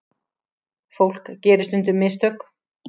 Fólk gerir stundum mistök.